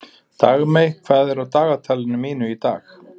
Dagmey, hvað er á dagatalinu mínu í dag?